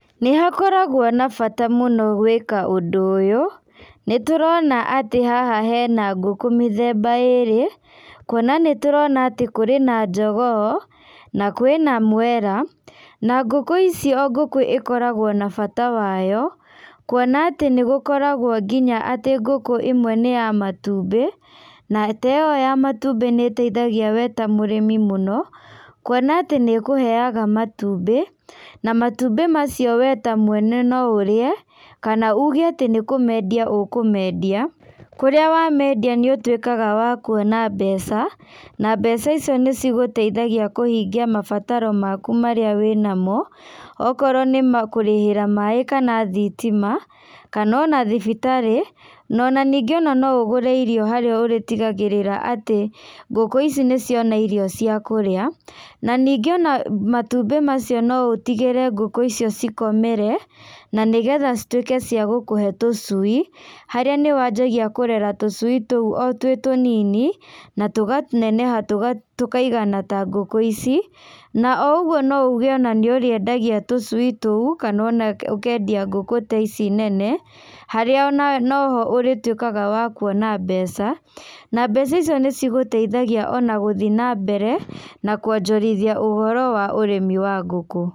Nĩhakoragwo na bata mũno gwĩka ũndũ ũyũ, nĩtũrona atĩ haha hena ngũkũ mĩthemba ĩrĩ, kuona nĩ tũrona atĩ kũrĩ na njogoo, na kwĩ na mwera, na ngũkũ ici o ngũkũ ĩkoragwo na bata wayo, kuona atĩ nĩgũkoragwo nginya atĩ ngũkũ imwe nĩyamatumbĩ, na ta ĩyo ya matumbĩ nĩteithagia we ta mũrĩmi mũno, kuona atĩ nĩkũheaga matumbĩ, na matumbĩ macio we ta mwene no ũrĩe, kana ũge atĩ nĩkũmendia ũkũmendia, kũrĩa wamendia nĩũtuĩkaga wakuona mbeca, na mbeca icio nĩcigũteithagia kũhingia mabataro maku marĩa wĩnamo, okorwo nĩma kũrĩhĩra maĩ kana thitima, kana ona thibitarĩ, na ona ningĩ no ũgũre irio harĩa ũrĩtigagĩrĩra atĩ ngũkũ ici nĩciona irio ciakũrĩa, na ningĩ ona matumbĩ macio no ũtigĩre ngũkũ icio cikomere, na nĩgetha cituĩke cia gũkũhe tũcui, harĩa nĩwanjagia kũrera tũcui tũu o twĩ tũnini, na tũga neneha tũga tũkaigana ta ngũkũ ici, na o ũguo no uge ona nĩũrĩendagia tũcui tũu, kana ona ũkendia ngũkũ ta ici nene, harĩa ona no ho ũrĩtuĩkaga wa kuona mbeca, na mbeca icio nĩcigũteithagia ona gũthiĩ nambere, nakuonjorithia ũhoro wa ũrĩmi wa ngũkũ.